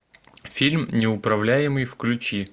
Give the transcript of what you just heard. фильм неуправляемый включи